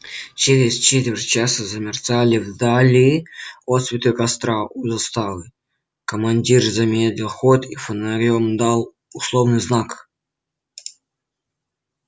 через четверть часа замерцали вдали отсветы костра у заставы командир замедлил ход и фонарём дал условный знак